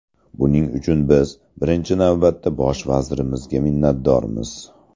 Buning uchun biz, birinchi navbatda, Bosh vazirimizga minnatdormiz.